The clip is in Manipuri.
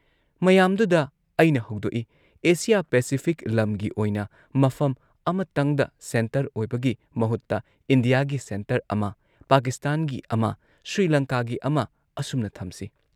ꯃꯌꯥꯥꯝꯗꯨꯗ ꯑꯩꯅ ꯍꯧꯗꯣꯛꯏ‑ "ꯑꯦꯁꯤꯌꯥ ꯄꯦꯁꯤꯐꯤꯛ ꯂꯝꯒꯤ ꯑꯣꯏꯅ ꯃꯐꯝ ꯑꯃꯇꯪꯗ ꯁꯦꯟꯇꯔ ꯑꯣꯏꯕꯒꯤ ꯃꯍꯨꯠꯇ ꯏꯟꯗꯤꯌꯥꯒꯤ ꯁꯦꯟꯇꯔ ꯑꯃ, ꯄꯥꯀꯤꯁꯇꯥꯟꯒꯤ ꯑꯃ, ꯁ꯭ꯔꯤꯂꯪꯀꯥꯒꯤ ꯑꯃ ꯑꯁꯨꯝꯅ ꯊꯝꯁꯤ